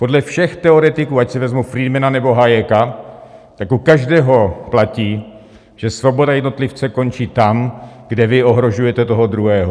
Podle všech teoretiků, ať si vezmu Friedmana, nebo Hayeka, tak u každého platí, že svoboda jednotlivce končí tam, kde vy ohrožujete toho druhého.